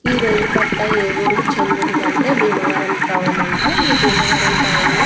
ఈ రైలు పట్టా ఏ ఊరికి చెందించి అంటే భీమవరం టౌన్ అంట. ఈ భీమవరం టౌన్ లో --